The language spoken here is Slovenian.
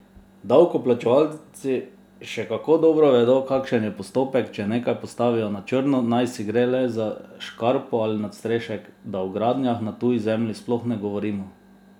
Davkoplačevalci še kako dobro vedo, kakšen je postopek, če nekaj postavijo na črno, najsi gre le za škarpo ali nadstrešek, da o gradnjah na tuji zemlji sploh ne govorimo!